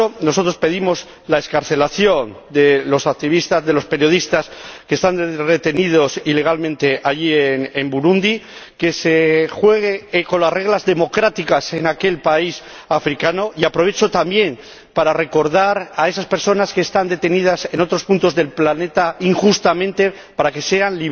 Por eso nosotros pedimos la excarcelación de los periodistas que están retenidos ilegalmente allí en Burundi, que se juegue conforme a las reglas democráticas en aquel país africano, y aprovecho también para recordar a esas personas que están detenidas en otros puntos del planeta injustamente, para que sean